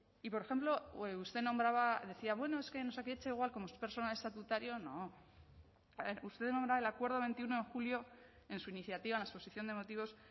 y por ejemplo usted nombraba decía bueno es que en osakidetza igual como es personal estatutario no a ver usted nombra el acuerdo de veintiuno de julio en su iniciativa en la exposición de motivos